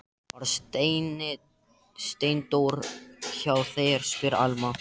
Var Steindór hjá þér, spyr Alma.